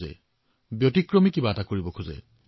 আজিৰ যুৱকযুৱতীসকলে সজাই থোৱা পথ অনুসৰণ কৰিব নিবিচাৰে